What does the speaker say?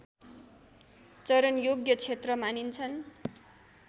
चरनयोग्य क्षेत्र मानिन्छन्